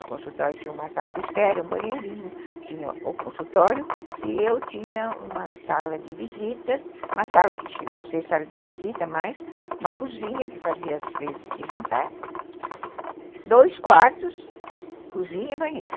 O consultório tinha uma sala de espera, um banheirinho, tinha o consultório e eu tinha uma sala de visitas, uma sala que chegou a ser sala de visita, mas uma cozinha que fazia às vezes de jantar, dois quartos, cozinha e banheiro.